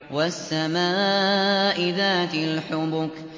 وَالسَّمَاءِ ذَاتِ الْحُبُكِ